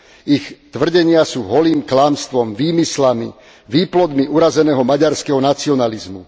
Ich tvrdenia sú holým klamstvom, výmyslami, výplodmi urazeného maďarského nacionalizmu.